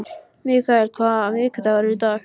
Mikael, hvaða vikudagur er í dag?